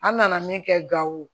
An nana min kɛ gawo